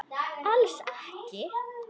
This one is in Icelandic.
Alls ekki.